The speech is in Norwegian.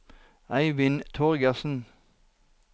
Eivind Torgersen